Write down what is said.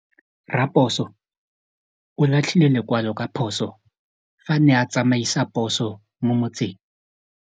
Raposo o latlhie lekwalô ka phosô fa a ne a tsamaisa poso mo motseng.